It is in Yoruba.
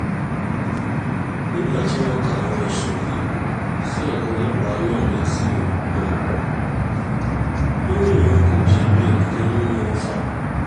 nígbà tí wọ́n ka àwọn ẹ̀sùn yìí sí ọ̀gá ọlọ́pàá náà létí um ó ní òun kò jẹ̀bi ọ̀kánkán nínú wọn um